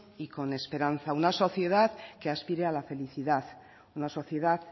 y con esperanza una sociedad que aspire a la felicidad una sociedad